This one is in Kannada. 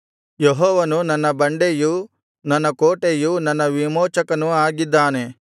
ಯೆಹೋವನು ನನ್ನ ಬಂಡೆಯೂ ನನ್ನ ಕೋಟೆಯೂ ನನ್ನ ವಿಮೋಚಕನೂ ಆಗಿದ್ದಾನೆ